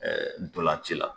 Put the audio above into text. Ɛɛ dolanci la